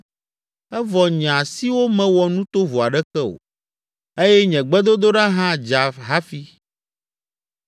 evɔ nye asiwo mewɔ nu tovo aɖeke o eye nye gbedodoɖa hã dza hafi.